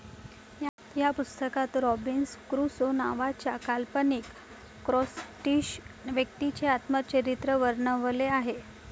ह्या पुस्तकात Robinson Crusoe नावाच्या काल्पनिक स्कॉटिश व्यक्तीचे आत्मचरित्र वर्णवलेआहे.